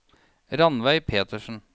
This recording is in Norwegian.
Ranveig Petersen